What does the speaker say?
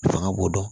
Fanga b'o dɔn